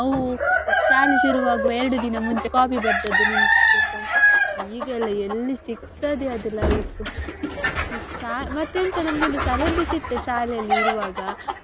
ನಾವು ಶಾಲೆ ಶುರು ಆಗುವ ಎರಡು ದಿನ ಮುಂಚೆ copy ಬರ್ದದ್ದು ಈಗೆಲ್ಲ ಎಲ್ಲಿ ಸಿಕ್ತದೆ ಅದು life ಶೀ ಮತ್ತೆಂತ ನಮ್ಗೆ ಒಂದು ತಲೆ ಬಿಸಿ ಇತ್ತ ಶಾಲೆಯಲ್ಲಿ ಇರುವಾಗ.